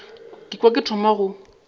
ka kwa ke thoma go